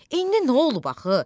İndi nə olub axı?